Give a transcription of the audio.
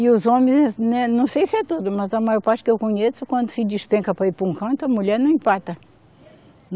E os homens, né, não sei se é tudo, mas a maior parte que eu conheço, quando se despenca para ir para um canto, a mulher não empata.